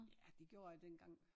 Ja det gjorde jeg dengang